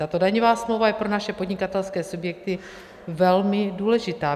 Tato daňová smlouva je pro naše podnikatelské subjekty velmi důležitá.